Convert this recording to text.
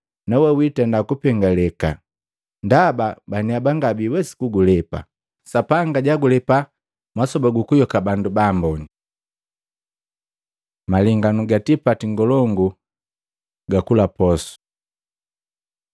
nawe wiitenda kupengeleka, ndaba baniaba ngabiiwesi kugulepa. Sapanga jagulepa masoba guku yoka bandu baamboni.” Malenganu ga tipati ngolongu gakula posu Matei 22:1-10